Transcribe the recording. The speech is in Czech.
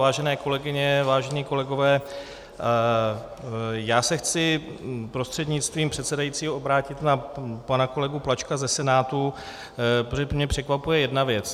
Vážené kolegyně, vážení kolegové, já se chci prostřednictvím předsedajícího obrátit na pana kolegu Plačka ze Senátu, protože mě překvapuje jedna věc.